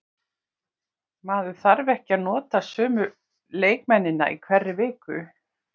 Maður þarf ekki að nota sömu leikmennina í hverri viku.